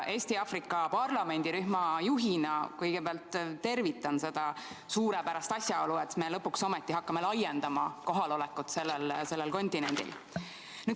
Eesti-Aafrika parlamendirühma juhina tervitan seda suurepärast asjaolu, et me lõpuks ometi hakkame laiendama kohalolekut sellel kontinendil.